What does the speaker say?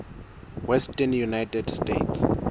western united states